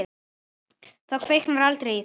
Það kviknar aldrei í því.